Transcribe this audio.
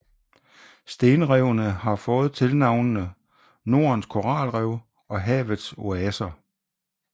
Stenrevene har fået tilnavnene Nordens Koralrev og Havets Oaser